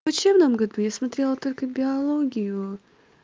учебном году я смотрела только биологию